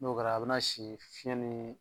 N'o kɛra a bɛna si fiɲɛ nii